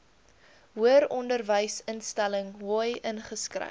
hoëronderwysinstelling hoi ingeskryf